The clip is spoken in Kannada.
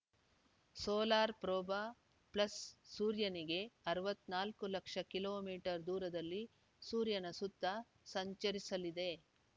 ಸೋಲಾರ್‌ ಪ್ರೋಬ ಪ್ಲಸ್‌ ಸೂರ್ಯನಿಗೆ ಅರವತ್ತ್ ನಾಲ್ಕು ಲಕ್ಷ ಕಿಲೋ ಮೀಟರ್ ದೂರದಲ್ಲಿ ಸೂರ್ಯನ ಸುತ್ತ ಸಂಚರಿಸಲಿದೆ